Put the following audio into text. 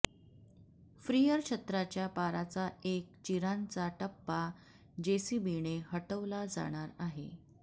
फ्रिअर छत्राच्या पाराचा एक चिरांचा टप्पा जेसीबीने हटवला जाणार आहे